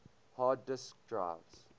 hard disk drives